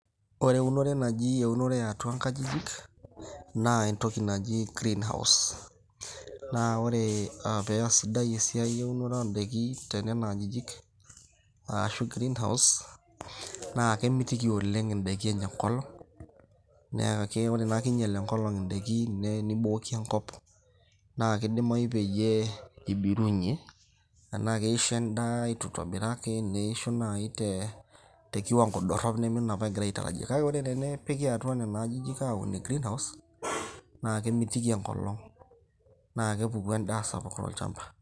ore eunore naji eunore yeatua nkajijik, naa entoki naji greenhouse. naa ore paa sidai eunore tenana ajijik arashu greenhouse naa kemitiki oleng, idaiki enya enkolong' amu kingial enkolong' idaikin nibooki enkop. naa kidimayu peyie ibirunye. enaa keisho edaa eitu itobiraki, keisho naaji te kiwango dorop neme enaduo nagirae aitarajia, kake ore pee epiki atu inaduo ajijik, naa kemitiki enkilong'.naa kepuku edaa sapuk tolchampa.